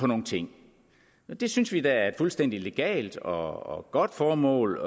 nogle ting det synes vi da er et fuldstændig legalt og godt formål